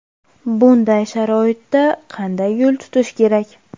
Bunday sharoitda qanday yo‘l tutish kerak?